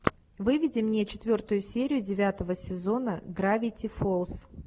выведи мне четвертую серию девятого сезона гравити фолз